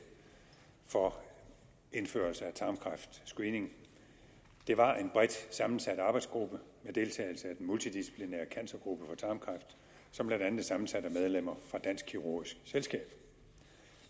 for indførelse af tarmkræftscreening det var en bredt sammensat arbejdsgruppe med deltagelse af den multidisciplinære cancergruppe for tarmkræft som blandt andet blev sammensat af medlemmer af dansk kirurgisk selskab